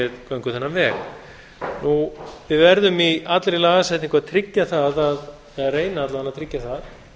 göngum þennan veg við verðum í allri lagasetningu að tryggja það eða reyna alla vega að tryggja það